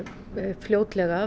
fljótlega